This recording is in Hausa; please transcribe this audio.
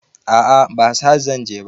A'a ba sahad zanje ba